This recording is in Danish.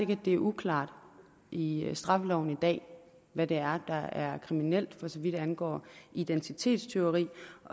det er uklart i straffeloven i dag hvad der er kriminelt for så vidt angår identitetstyveri